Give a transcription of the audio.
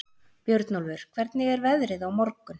Björnólfur, hvernig er veðrið á morgun?